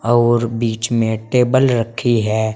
और बीच में टेबल रखी है।